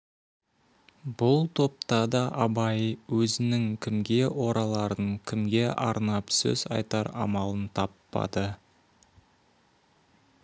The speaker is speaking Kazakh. бұл топта да абай өзінің кімге ораларын кімге арнап сөз айтар амалын таппады